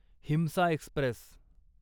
हिंसा एक्स्प्रेस